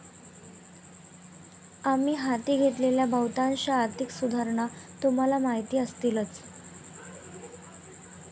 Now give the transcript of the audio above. आम्ही हाती घेतलेल्या बहुतांश आर्थिक सुधारणा तुम्हाला माहिती असतीलच.